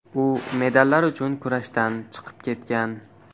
U medallar uchun kurashdan chiqib ketgan.